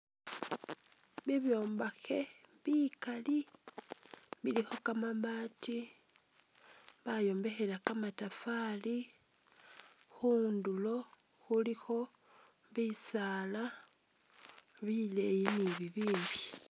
Bibyombakhe bikali bilikho kamabati bayombekhela kamatafari khundulo khulikho bisaala bileeyi ni bi bimbi.